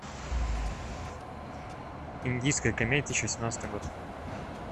индийская комедия шестнадцатый год